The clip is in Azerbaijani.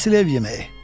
Əsl ev yeməyi.